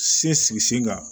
Se sigi sen kan